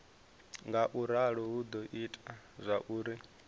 ngauralo hu do ita zwauri